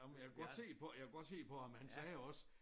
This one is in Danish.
Ej men jeg kunne godt se på jeg kunne godt se på ham han sagde jo også